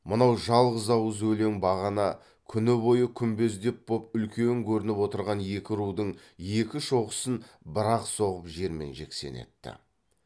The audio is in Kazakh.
мынау жалғыз ауыз өлең бағана күні бойы күмбездеп боп үлкен көрініп отырған екі рудың екі шоқысын бір ақ соғып жермен жексен етті